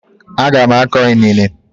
A ga m akọ inene.